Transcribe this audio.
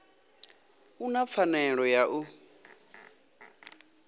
u na pfanelo ya u